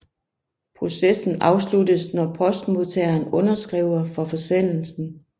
Processen afsluttes når postmodtageren underskriver for forsendelsen